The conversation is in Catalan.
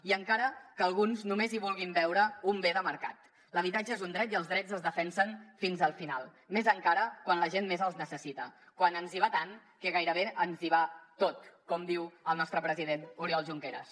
i encara que alguns només hi vulguin veure un bé de mercat l’habitatge és un dret i els drets es defensen fins al final més encara quan la gent més els necessita quan ens hi va tant que gairebé ens hi va tot com diu el nostre president oriol junqueras